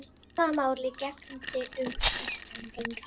Sama máli gegndi um Íslendinga.